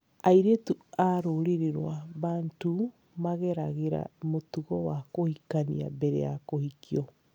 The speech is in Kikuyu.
Airĩtu a rũrĩrĩ rwa Bantu mageragĩra mũtugo wa kũhikania mbere ya kũhikio.